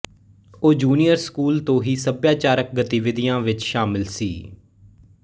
ਉਹ junior school ਤੋਂ ਹੀ ਸਭਿਆਚਾਰਕ ਗਤੀਵਿਧੀਆਂ ਵਿੱਚ ਸ਼ਾਮਿਲ ਸੀ